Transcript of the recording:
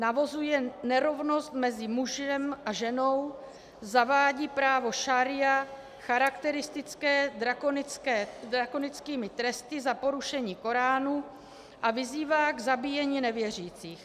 Navozuje nerovnost mezi mužem a ženou, zavádí právo šaría charakteristické drakonickými tresty za porušení Koránu a vyzývá k zabíjení nevěřících.